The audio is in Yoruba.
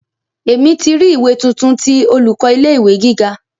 Emi ti ri ìwé tuntun ti olùkọ́ ilé ìwé gíga.